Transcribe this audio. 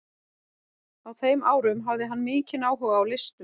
Á þeim árum hafði hann mikinn áhuga á listum.